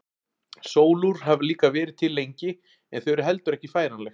Sólúr hafa líka verið til lengi en þau eru heldur ekki færanleg.